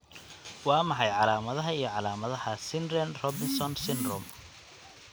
Waa maxay calaamadaha iyo calaamadaha Snyder Robinson syndrome?